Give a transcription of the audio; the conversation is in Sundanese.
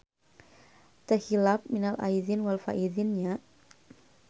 Teu hilap minal aidin wal faidzin nya.